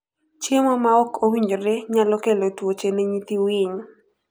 Chiemo maok owinjore nyalo kelo tuoche ne nyithii winy.